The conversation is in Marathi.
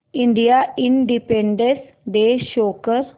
इंडियन इंडिपेंडेंस डे शो कर